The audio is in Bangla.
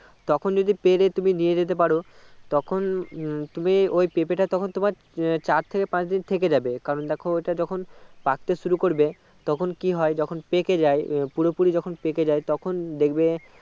তখন যদি পেরে তুমি নিয়ে যেতে পারো তখন উম তুমি ওই পেঁপেটা তখন তোমার তোমার চারথেকে পাঁচদিন থেকে যাবে কারণ দেখো ঐটা যখন পাকতে শুরু করবে তখন কি হয় যখন পেকে যাই পুরোপুরি যখন পেকে যাই তখন উম দেখবে